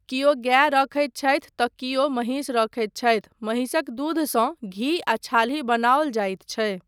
कियो गाय रखैत छथि तँ कियो महिष रखैत छथि, महिषक दूधसँ घी आ छाली बनाओल जाइत छै।